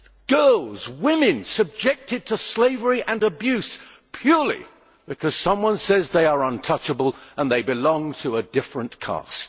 Girls, women, are subjected to slavery and abuse, purely because someone says they are untouchable and they belong to a different caste.